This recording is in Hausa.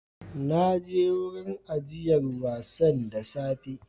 Na je wurin ajiyar wasan da safe